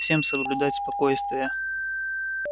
всем соблюдать спокойствие